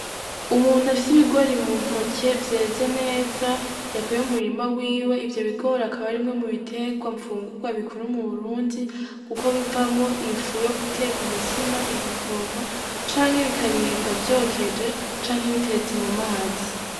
Umuntu afise ibigori muntoke vyeze neza, yakuye mumurima wiwe, ivyo bigori akaba ari bimwe mubiterwa mfungurwa bikura m’uburundi, kuko bivamwo ifu yo guteka umutsima, igikoma, canke bikaribwa vyokeje canke bitetse mumazi.